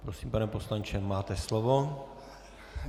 Prosím, pane poslanče, máte slovo.